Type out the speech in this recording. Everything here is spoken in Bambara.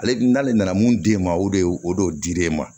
Ale n'ale nana mun di e ma o de ye o don dir'e ma